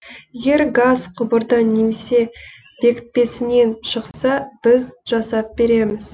егер газ құбырдан немесе бекітпесінен шықса біз жасап береміз